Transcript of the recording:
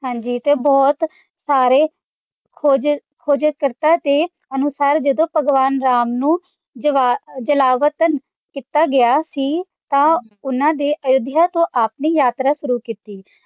ਹਾਂਜੀ ਤੇ ਬਹੁਤ ਸਾਰੇ ਖੋਜ, ਖੋਜ ਕਰਤਾ ਦੇ ਅਨੁਸਾਰ ਜਦੋਂ ਭਗਵਾਨ ਰਾਮ ਨੂੰ ਜਵਾ, ਜਵਾਲਤ ਕੀਤਾ ਗਿਆ ਸੀ ਤਾਂ ਉਹਨਾਂ ਦੇ ਅਯੋਧਿਆ ਤੋਂ ਆਪਣੇ ਯਾਤਰਾ ਸ਼ੁਰੂ ਕੀਤੀ ਸੀ।